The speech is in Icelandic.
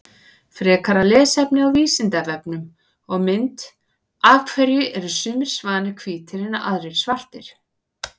Frekara lesefni á Vísindavefnum og mynd Af hverju eru sumir svanir hvítir en aðrir svartir?